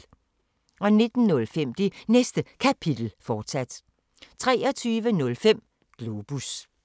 19:05: Det Næste Kapitel, fortsat 23:05: Globus